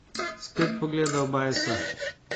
Spet pogleda v Bajsa.